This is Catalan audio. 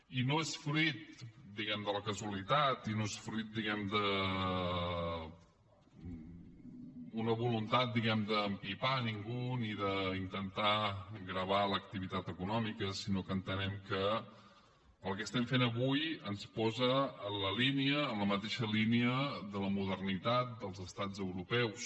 i no és fruit de la casualitat i no és fruit d’una voluntat d’empipar ningú ni d’intentar gravar l’activitat econòmica sinó que entenem que el que estem fent avui ens posa en la línia en la mateixa línia de la modernitat dels estats europeus